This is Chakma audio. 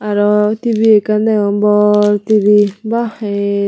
arw tibi ekkan deong bor tibi baa ey.